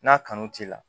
N'a kanu t'i la